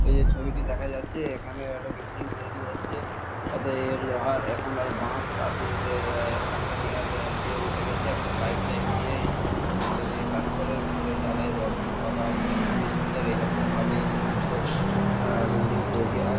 এই যে ছবিটি দেখা যাচ্ছে এখানে একটা বিল্ডিং তৈরী হচ্ছে। অতএব এর লোহার এখন আর বাঁশ কাঁটিয়ে যে আ সেন্টারিং - এর দিয়ে উঠে গেছে। এখন পাইপ ঠাইপ দিয়ে এইসমস্ত সেন্টারিং - এর কাজ করে। উপরে ঢালাই রড ফড বাধা হচ্ছে। খুবই সুন্দর। এরকমভাবেই এইসমস্ত আ বিল্ডিং তৈরী হয় ।